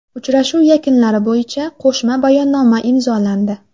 Uchrashuv yakunlari bo‘yicha qo‘shma bayonnoma imzolandi.